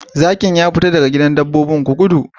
Zakin ya fita daga gidan dabbobin! gudu!